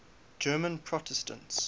german protestants